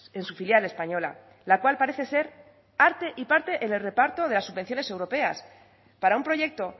en su filial española la cual parece ser arte y parte en el reparto de las subvenciones europeas para un proyecto